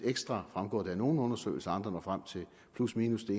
ekstra fremgår det af nogle undersøgelser andre når frem til plusminus det